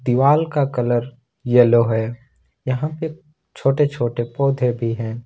दीवाल का colour yellow है यहां पे छोटे छोटे पौधे भी हैं।